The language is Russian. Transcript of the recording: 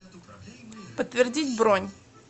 подтвердить бронь